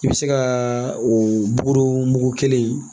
I bɛ se ka o bugu mugu kelen